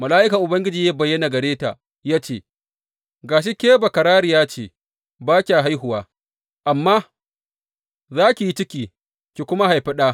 Mala’ikan Ubangiji ya bayyana gare ta ya ce, Ga shi ke bakararriya ce ba kya haihuwa, amma za ki yi ciki ki kuma haifi ɗa.